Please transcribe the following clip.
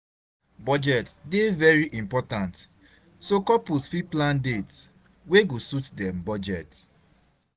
Budget dey very important, so couples fit plan dates wey go suit dem budget.